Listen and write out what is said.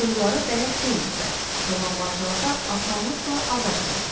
Cığyrlara bələd deyildilər, dolanbaclarda asanlıqla aza bilərdilər.